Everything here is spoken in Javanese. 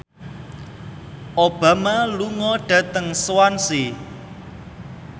Obama lunga dhateng Swansea